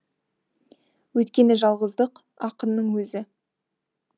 өйткені жалғыздық ақынның өзі